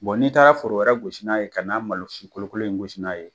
n'i taara foro wɛrɛ gosi n'a ye ka ta malosi kolo kololen in gosi ka b'a ye